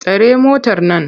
Tare motar nan!